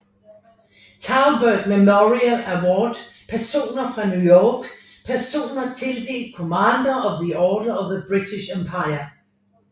Thalberg Memorial Award Personer fra New York Personer tildelt Commander of the Order of the British Empire